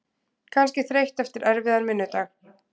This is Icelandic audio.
Kannski þreytt eftir erfiðan vinnudag.